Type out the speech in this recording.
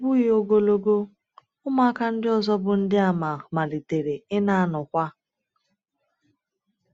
Ọ bụghị ogologo, ụmụaka ndị ọzọ bụ́ Ndịàmà malitere ịna-anọkwa.